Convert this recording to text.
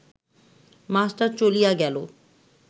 master চলিয়া গেল